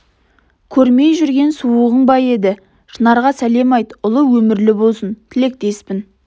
көрмей жүрген суығың ба еді шынарға сәлем айт ұлы өмірлі болсын тілектеспін